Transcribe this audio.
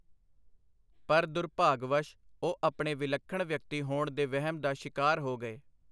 ਪਰ ਦੁਰਭਾਗਵੱਸ਼ ਉਹ ਆਪਣੇ ਵਿਲੱਖਣ ਵਿਅਕਤੀ ਹੋਣ ਦੇ ਵਹਿਮ ਦਾ ਸ਼ਿਕਾਰ ਹੋ ਗਏ.